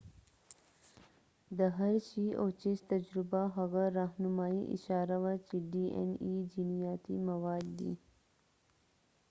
د هرشی او چېس تجربه هغه راهنمايي اشاره وه چې ډي این اې جینیاتي مواد دی